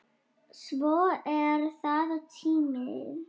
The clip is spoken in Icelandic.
Svo er það tíminn.